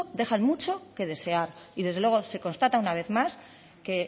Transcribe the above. dejan mucho que desear y desde luego se constata una vez más que